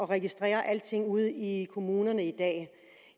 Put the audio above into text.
registrere alting ude i kommunerne i dag